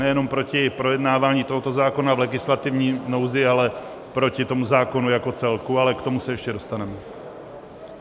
Nejenom proti projednávání tohoto zákona v legislativní nouzi, ale proti tomu zákonu jako celku, ale k tomu se ještě dostaneme.